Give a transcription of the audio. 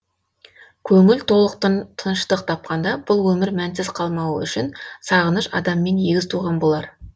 көңіл толықтың тыныштық тапқанда бұл өмір мәнсіз қалмауы үшін сағыныш адаммен егіз туған болар